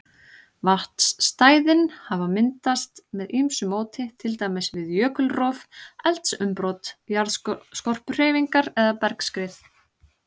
Vatnsstæðin hafa myndast með ýmsu móti, til dæmis við jökulrof, eldsumbrot, jarðskorpuhreyfingar eða bergskrið.